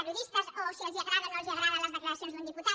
periodistes o si els agraden o no els agraden les declaracions d’un diputat